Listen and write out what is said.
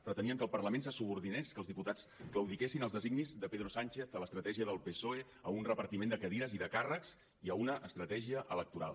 pretenien que el parlament se subordinés que els diputats claudiquessin als designis de pedro sánchez a l’estratègia del psoe a un repartiment de cadires i de càrrecs i a una estratègia electoral